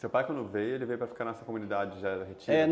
Seu pai, quando veio, ele veio para ficar nessa comunidade? é